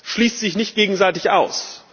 schließt sich nicht gegenseitig aus.